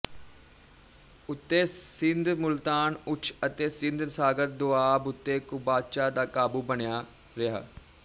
ਉੱਤੇ ਸਿੰਧ ਮੁਲਤਾਨ ਉੱਛ ਅਤੇ ਸਿੰਧ ਸਾਗਰ ਦੁਆਬ ਉੱਤੇ ਕੁਬਾਚਾ ਦਾ ਕਾਬੂ ਬਣਿਆ ਰਿਹਾ